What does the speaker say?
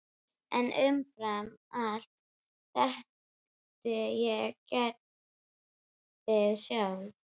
En umfram allt þekkti ég Gerði sjálf.